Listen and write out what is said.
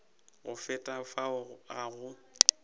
go feta fao ga go